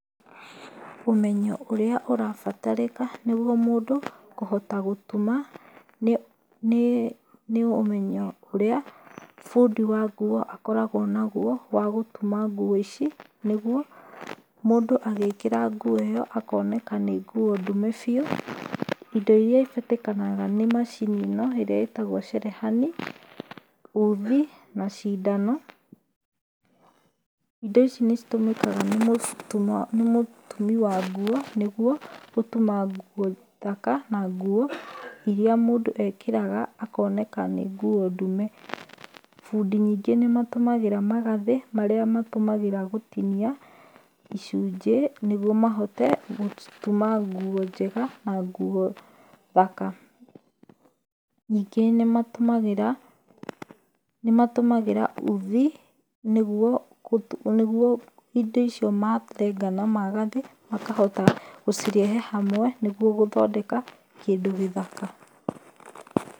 Ũmenyo ũrĩa ũrabatarĩka nĩgwo mũndũ kũhota gũtuma nĩ ũmenyo ũrĩa bundi wa nguo akoragwo nagwo wa gũtuma nguo ici nĩgwo mũndũ agĩikĩra nguo ĩyo akoneka nĩ nguo ndume biu. Indo iria ibatarĩkanaga nĩ macini ĩno ĩria ĩtagwo cerehani uthi na cindano indo ici nĩ citũmĩkaga nĩ mũtumi wa nguo nĩgwo gũtuma nguo thaka na nguo iria mũndũ ekĩraga akoneka nĩ nguo ndume. Bundi ningĩ nĩ matũmagĩra magathĩ marĩa matũmagĩra gũtinia icunjĩ nĩgwo mahote gũtuma nguo thaka ningĩ nĩmatũmagĩra uthi nĩgwo indo icio marenga na magathĩ makahota gũcirehe hamwe nĩgwo gũthondeka kĩndũ gĩthaka.